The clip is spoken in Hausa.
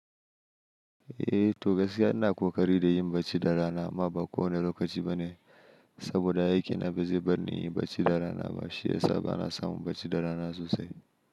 Eh to gaskiya ina kokari da yin barci da rana amma ba kowane lokaci ba ne, saboda aikina ba zai bar ni inyi barci da rana ba, shi ya sa bana samun barci da rana sosai.